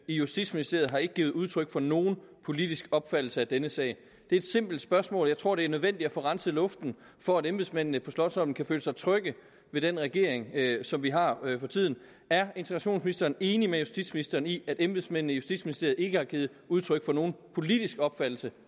i justitsministeriet har ikke givet udtryk for nogen politisk opfattelse af denne sag det er et simpelt spørgsmål jeg tror det er nødvendigt at få renset luften for at embedsmændene på slotsholmen kan føle sig trygge ved den regering som vi har for tiden er integrationsministeren enig med justitsministeren i at embedsmændene i justitsministeriet ikke har givet udtryk for nogen politisk opfattelse